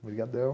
Obrigadão.